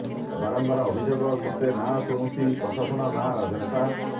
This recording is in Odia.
ବାରମ୍ବାର ଅଭିଯୋଗ ସତ୍ୱେ ନାଁ ଶୁଣୁଛି ପ୍ରଶାସନ ନାଁ ରାଜନେତା